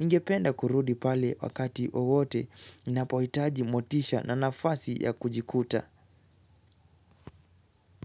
Ningependa kurudi pale wakati wowote ninapohitaji motisha na nafasi ya kujikuta.